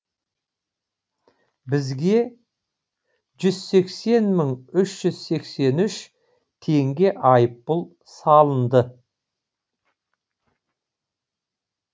бізге жүз сексен мың үш жүз сексен үш теңге айыппұл салынды